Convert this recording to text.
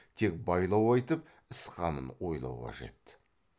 тек байлау айтып іс қамын ойлау қажет